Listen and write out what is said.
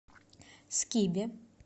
скибе